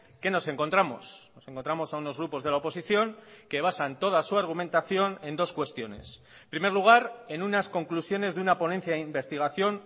qué nos encontramos nos encontramos a unos grupos de la oposición que basan toda su argumentación en dos cuestiones en primer lugar en unas conclusiones de una ponencia de investigación